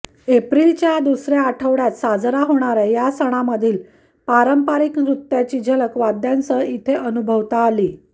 एप्रिलच्या दुसऱ्या आठवड्यात साजरा होणाऱ्या या सणामधील पारंपरिक नृत्याची झलक वाद्यांसह इथे अनुभवता आली